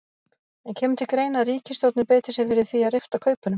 En kemur til greina að ríkisstjórnin beiti sér fyrir því að rifta kaupunum?